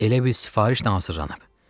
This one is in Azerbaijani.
Elə bil sifarişlə hazırlanıb.